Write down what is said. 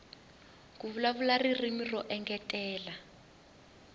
ku vulavula ririmi ro engetela